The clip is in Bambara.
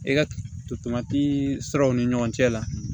E ka tolantii siraw ni ɲɔgɔn cɛ la